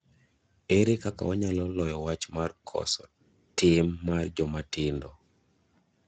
Ere kaka wanyalo loyo wach mar koso tim mar joma tindo?